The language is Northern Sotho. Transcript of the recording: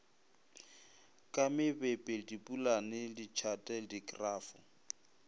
ka mebepe dipolane ditšhate dikrafo